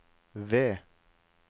V